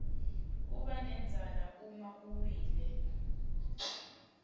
kubanendzala uma uwile